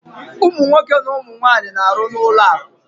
Ụmụ nwoke na ụmụ nwaanyị na-arụ n'ụlọakụ